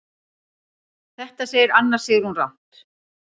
Þetta segir Anna Sigrún rangt.